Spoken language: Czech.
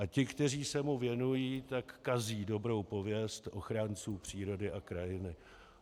A ti, kteří se mu věnují, tak kazí dobrou pověst ochránců přírody a krajiny.